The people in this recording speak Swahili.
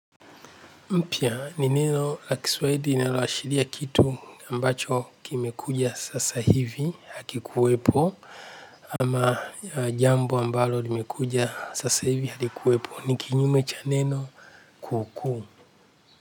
Mpya ni neno la kiswahili linaloashiria kitu ambacho kimekuja sasa hivi hakikuwepo ama jambo ambalo limekuja sasa hivi halikuwepo ni kinyume cha neno kuu kuu.